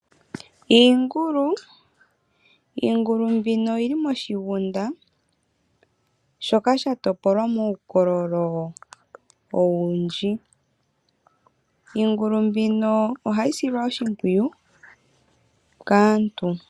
Iingulu Iingulu mbino oyili moshigunda shoka sha topolwa muukololo owundji. Iingulu mbino ohayi silwa oshimpwiyu kaantu.